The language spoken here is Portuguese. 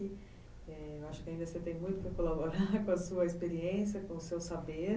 acho que ainda você tem muito para colaborar com a sua experiência, com o seu saber.